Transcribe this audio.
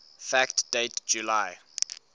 fact date july